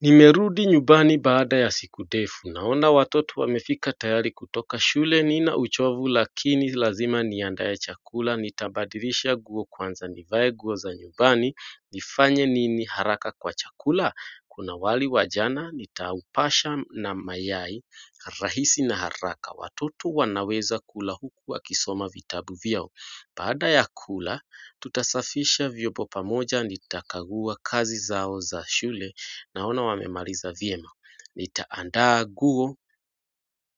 Nimerudi nyumbani baada ya siku ndefu naona watoto wamefika tayari kutoka shule nina uchovu lakini lazima niandae chakula nitabadilisha nguo kwanza nivae nguo za nyumbani nifanye nini haraka kwa chakula kuna wali wa jana nitaupasha na mayai rahisi na haraka watoto wanaweza kula huku wakisoma vitabu vyao Baada ya kula, tutasafisha vyombo pamoja nitakaguwa kazi zao za shule naona wamemaliza vyema. Nita andaa nguo